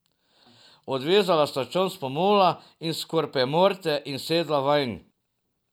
Odvezala sta čoln s pomola in s korpemorte in sedla vanj.